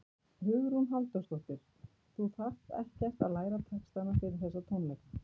Hugrún Halldórsdóttir: Þú þarft ekkert að læra textana fyrir þessa tónleika?